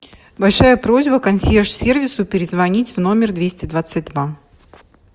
большая просьба консьерж сервису перезвонить в номер двести двадцать два